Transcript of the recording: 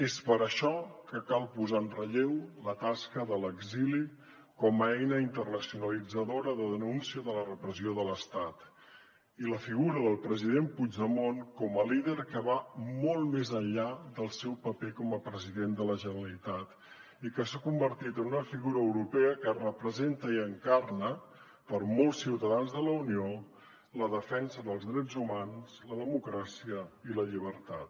és per això que cal posar en relleu la tasca de l’exili com a eina internacionalitzadora de denúncia de la repressió de l’estat i la figura del president puigdemont com a líder que va molt més enllà del seu paper com a president de la generalitat i que s’ha convertit en una figura europea que representa i encarna per a molts ciutadans de la unió la defensa dels drets humans la democràcia i la llibertat